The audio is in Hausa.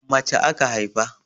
Mace aka haifa.